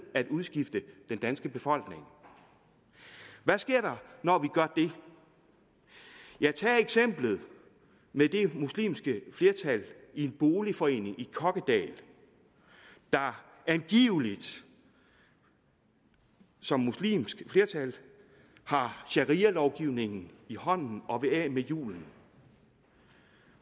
at udskifte den danske befolkning hvad sker der når vi gør det tag eksemplet med det muslimske flertal i en boligforening i kokkedal der angiveligt som muslimsk flertal har sharialovgivningen i hånden og vil af med julen